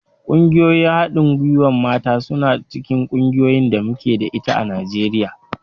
Ƙungiyoyin haɗin gwiwar mata suna cikin ƙungiyar da muke da ita a Najeriya.